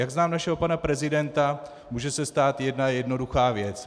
Jak znám našeho pana prezidenta, může se stát jedna jednoduchá věc.